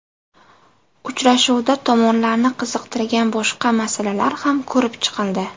Uchrashuvda tomonlarni qiziqtirgan boshqa masalalar ham ko‘rib chiqildi.